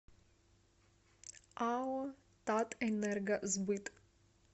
ао татэнергосбыт